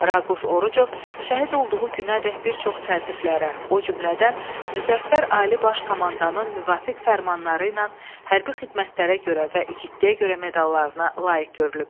Raquf Orucov şəhid olduğu günədək bir çox təltiflərə, o cümlədən Müzəffər Ali Baş Komandanın müvafiq fərmanları ilə hərbi xidmətlərə görə və igidliyə görə medallarına layiq görülüb.